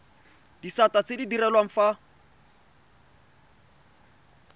disata tse di direlwang fa